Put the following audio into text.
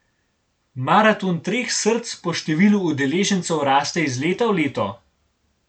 Maraton treh src po številu udeležencev raste iz leta v leto.